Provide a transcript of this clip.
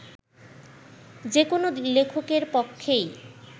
যে কোনো লেখকের পক্ষেই